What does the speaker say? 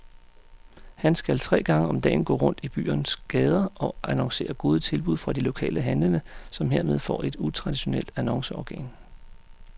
Han skal tre gange om dagen gå rundt i byens gader og annoncere gode tilbud fra de lokale handlende, som hermed får et utraditionelt annonceorgan.